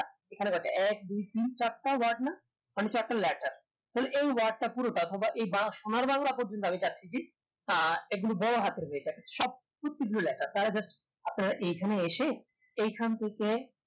এখানে এক দুই তিন চারটা word না এখানে হচ্ছে একটা letter সেই এই word টা পুরোটা তোমরা এই গাঁ সোনার বাংলা টা একদম বড়ো হাতের সব প্রত্যেক তারা আপনার এখানে এসে এইখান থেকে